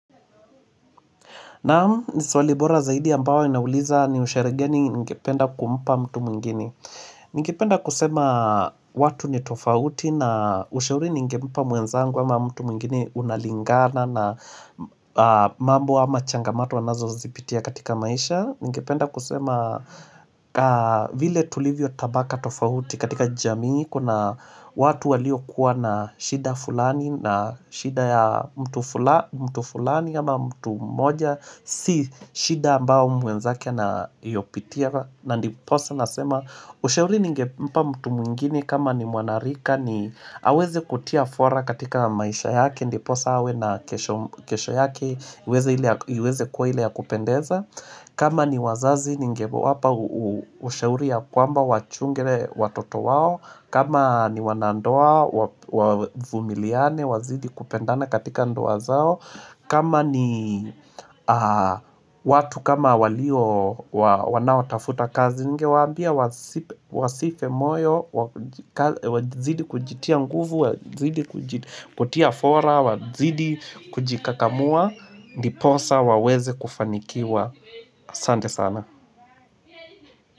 Naam, ni swali bora zaidi ambao inauliza ni usherehe geni ningependa kumpa mtu mwingine. Ningependa kusema watu ni tofauti na ushauri ningempa mwenzangu ama mtu mwingine, unalingana na mambo ama changamato anazozipitia katika maisha. Ningependa kusema, vile tulivyo tabaka tofauti katika jamii, kuna watu walio kuwa na shida fulani na shida ya mtu fulani ama mtu mmoja Si shida ambao mwenzake anyopitia, na ndiposa nasema ushauri ningempa mtu mwingine kama ni mwanarika, ni aweze kutia fora katika maisha yake, Ndiposa awe na kesho yake iweze kuwa ile ya kupendeza kama ni wazazi ningewapa ushauri ya kwamba wachunge watoto wao, kama ni wanandoa, wavumiliane wazidi kupendana katika ndoa zao kama ni watu kama walio, wanaotafuta kazi ningewaambia wasife moyo wajikaze Wazidi kujitia nguvu, wazidi kutia fora, wazidi kujikakamua Ndiposa waweze kufanikiwa, Asante sana.